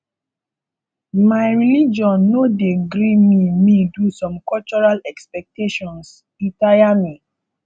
my religion no dey gree me me do some cultural expectations e tire me